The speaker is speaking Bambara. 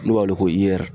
N'u b'a wele ko i r